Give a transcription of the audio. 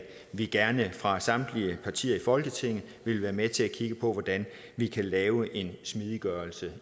vi gerne fra samtlige partier i folketinget vil være med til at kigge på hvordan vi kan lave en smidiggørelse